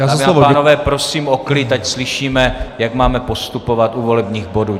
Dámy a pánové, prosím o klid, ať slyšíme, jak máme postupovat u volebních bodů.